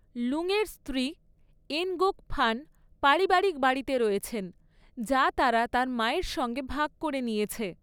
লুংয়ের স্ত্রী, Ngoc Phan, পরিবারিক বাড়িতে রয়েছেন যা তারা তার মায়ের সঙ্গে ভাগ করে নিয়েছে।